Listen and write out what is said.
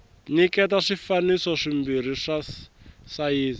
nyiketa swifaniso swimbirhi swa sayizi